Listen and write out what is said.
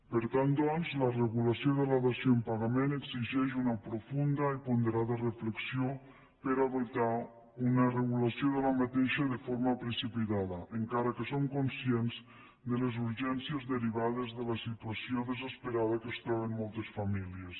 per tant doncs la regulació de la dació en pagament exigeix una profunda i ponderada reflexió per a evitar una regulació d’aquesta de forma precipitada encara que som conscients de les urgències derivades de la situació desesperada que es troben moltes famílies